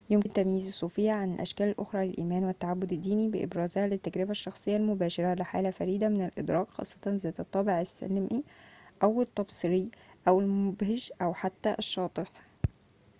يمكن تمييز الصوفيّة عن الأشكال الأخرى للإيمان والتعبّد الديني بإبرازها للتجربة الشخصية المباشرة لحالة فريدة من الإدراك خاصّة ذات الطابع السلمي أو التبصّري أو المبهج أو حتى الشاطح